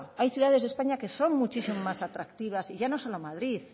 hay ciudades de españa que son muchísimo más atractivas y ya no solo madrid